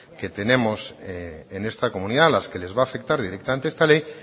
que tenemos en esta comunidad a las que le va a afectar directamente esta ley